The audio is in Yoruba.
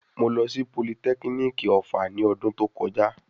Mo lọ sí politẹ́kínìkì ọ̀fà ní ọdún tó kọjá.